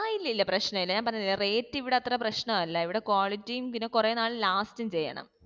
ആ ഇല്ലില്ല പ്രശനല്ല ഞാൻ പറഞ്ഞില്ലേ rate ഇവിടെ അത്ര പ്രശ്നമല്ല ഇവിടെ quality യും പിന്നെ കുറെ നാൾ last ഉം ചെയ്യണം